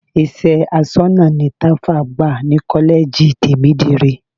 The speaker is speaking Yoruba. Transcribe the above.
Iṣẹ́ aṣọ́nà ni Tàfá gbà ní kọ́lẹ́ẹ̀jì Tèmídire.